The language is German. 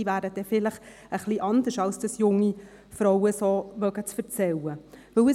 Diese wären vielleicht etwas anders, als es junge Frauen zu erzählen vermögen.